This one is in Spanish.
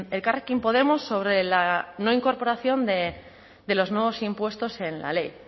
elkarrekin podemos sobre la no incorporación de los nuevos impuestos en la ley